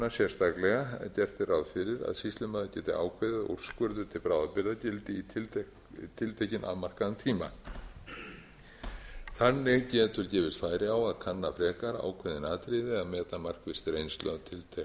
er ráð fyrir að sýslumaður geti ákveðið að úrskurður til bráðabirgða gildi í tiltekinn afmarkaðan tíma þannig getur gefist færi á að kanna frekar ákveðin atriði ef meta markvisst reynslu